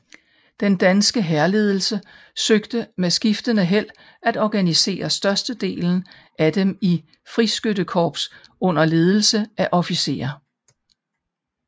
Den danske hærledelse søgte med skiftende held at organisere størstedelen af dem i friskyttekorps under ledelse af officerer